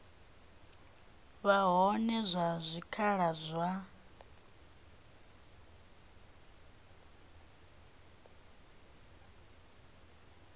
vha hone ha zwikhala zwa